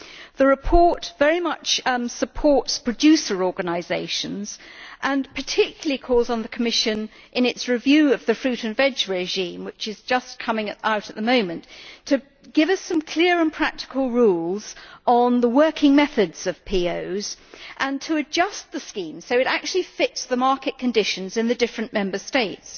The report very much supports producer organisations and it calls on the Commission, in its review of the fruit and veg regime which is just coming out, to give us some clear and practical rules on the working methods of POs and to adjust the scheme to fit the market conditions in the various Member States.